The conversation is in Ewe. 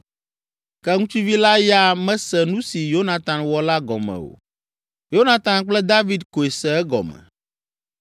Ke ŋutsuvi la ya mese nu si Yonatan wɔ la gɔme o; Yonatan kple David koe se egɔme.